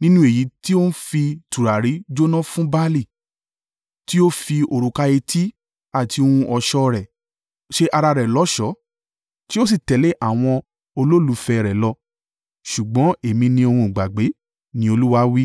nínú èyí tó ń fi tùràrí jóná fún Baali; tí ó fi òrùka etí àti ohun ọ̀ṣọ́ rẹ̀, ṣe ara rẹ̀ lọ́ṣọ̀ọ́, tó sì tẹ̀lé àwọn olólùfẹ́ rẹ̀ lọ. Ṣùgbọ́n èmi ni òun gbàgbé,” ni Olúwa wí.